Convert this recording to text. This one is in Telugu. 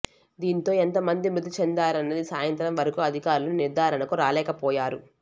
దీంతో ఎంత మంది మృతి చెందారన్నదీ సాయంత్రంవరకు అధికారులు నిర్ధారణకు రాలేకపోయారు